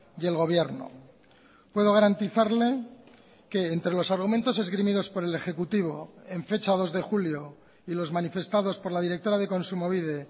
y el gobierno puedo garantizarle que entre los argumentos esgrimidos por el ejecutivo en fecha dos de julio y los manifestados por la directora de kontsumobide